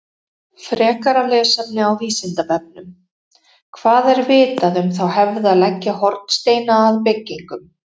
Frekara lesefni á Vísindavefnum: Hvað er vitað um þá hefð að leggja hornsteina að byggingum?